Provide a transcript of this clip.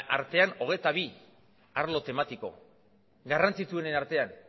artean hogeita bi arlo tematiko garrantzitsuenen artean